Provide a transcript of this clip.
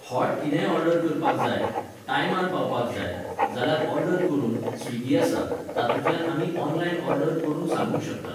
Hot कितेंय order करपाक जाय, टायमार पावपाक जाय, जाल्यार ऑर्डर करून, स्विगी आसा, तातूंतल्यान आमी ऑनलायन ऑर्डर करून सांगूंक शकतात.